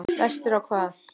Vestur á hvað?